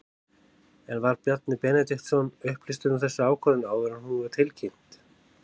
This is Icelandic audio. En var Bjarni Benediktsson upplýstur um þessa ákvörðun áður en hún var tilkynnt?